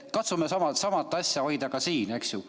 Katsume sama asja hoida ka siin.